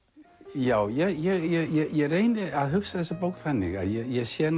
já ég reyni að hugsa þessa bók þannig að ég sé